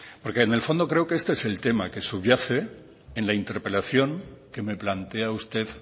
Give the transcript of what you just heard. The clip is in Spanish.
porque en el fondo este es el tema que subyace en la interpelación que me plantea usted